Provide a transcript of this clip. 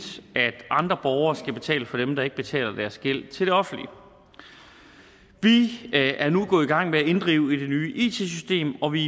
at andre borgere skal betale for dem der ikke betaler deres gæld til det offentlige vi er nu gået i gang med at inddrive i det nye it system og vi